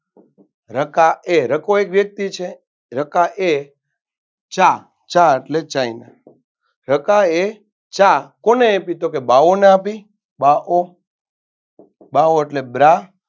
રકાએ રકો એક વ્યક્તિ છે રકાએ ચા ચા એટલે china રકાએ ચા કોને આપી તો કે ભાહોને આપી બાઓ ભાઓ એટલે બ્રા